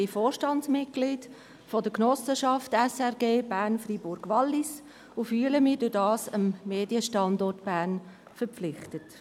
Ich bin Vorstandsmitglied der Genossenschaft «SRG Bern Freiburg Wallis» und fühle mich dadurch dem Medienstandort Bern verpflichtet.